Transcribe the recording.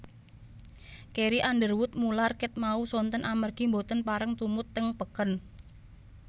Carrie Underwood mular ket wau sonten amargi mboten pareng tumut teng peken